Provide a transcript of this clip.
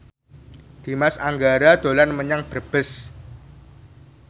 Dimas Anggara dolan menyang Brebes